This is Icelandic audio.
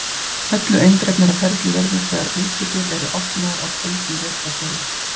Öllu eindregnara ferli verður þegar útidyr eru opnaðar á köldum vetrardegi.